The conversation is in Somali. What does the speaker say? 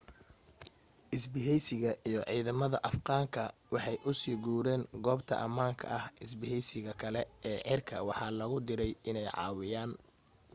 isbaheysiga iyo ciidamada afghan ka waxay u sii guureen goobta amaanka ah isbaheysiga kale ee cirka waxaa logu direy in ay caawiyaan